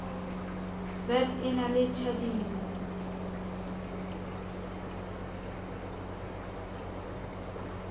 vep e na le tjhadimo